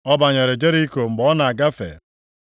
Ọ banyere Jeriko mgbe ọ na-agafe.